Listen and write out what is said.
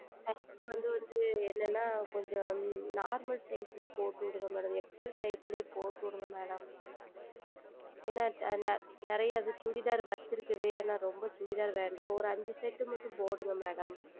என்ன என்றால் Normal Size லியே போட்டு விடுங்கள் MadamXL Size லியே போட்டு விடுங்கள் Madam ஏனால் அது நிறைய Chudithar வைத்திருக்கிறது ரொம்ப Chudithar வேண்டாம் ஓர் ஐந்து Set மட்டும் போடுங்கள் Madam